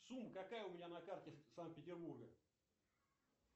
сумма какая у меня на карте санкт петербурга